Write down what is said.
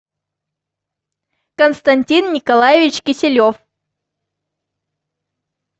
константин николаевич киселев